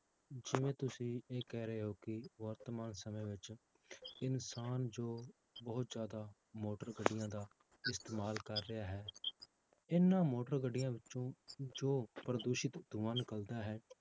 ਜਿਵੇਂ ਤੁਸੀਂ ਇਹ ਕਹਿ ਰਹੇ ਹੋ ਕਿ ਵਰਤਮਾਨ ਸਮੇਂ ਵਿੱਚ ਇਨਸਾਨ ਜੋ ਬਹੁਤ ਜ਼ਿਆਦਾ ਮੋਟਰ ਗੱਡੀਆਂ ਦਾ ਇਸਤੇਮਾਲ ਕਰ ਰਿਹਾ ਹੈ, ਇਹਨਾਂ ਮੋਟਰ ਗੱਡੀਆਂ ਵਿੱਚੋਂ ਜੋ ਪ੍ਰਦੂਸ਼ਿਤ ਧੂੰਆ ਨਿਕਲਦਾ ਹੈ